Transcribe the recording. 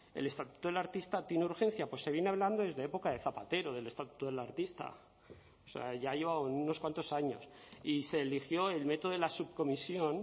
el estatuto del artista tiene urgencia pues se viene hablando desde la época de zapatero del estatuto del artista o sea ya llevaba unos cuantos años y se eligió el método de la subcomisión